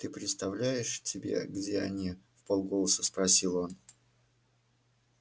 ты представляешь тебе где они вполголоса спросил он